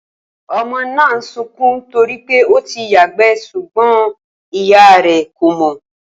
O̩mo̩ náà ń sunkún to rí pé ó ti yàgbé̩ s̩ùgbó̩n ìyá rè̩ kò mò̩